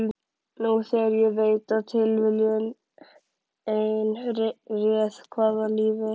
Nú þegar ég veit að tilviljun ein réð hvaða lífi